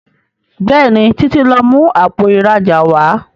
Béèni Títí tí lọ mú Àpò ìrajà wá.